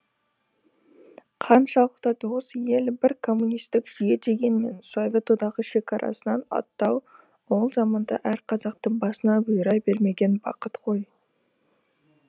қаншалықты дос ел бір коммунистік жүйе дегенмен совет одағы шекарасынан аттау ол заманда әр қазақтың басына бұйыра бермеген бақыт қой